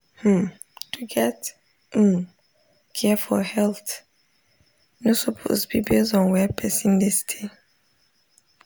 hmm to get um care for health no suppose be base on where person dey stay.